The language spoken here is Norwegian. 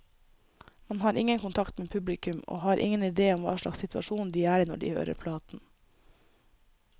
Man har ingen kontakt med publikum, og har ingen idé om hva slags situasjon de er i når de hører platen.